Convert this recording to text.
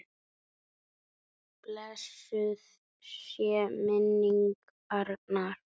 Blessuð sé minning Arnar.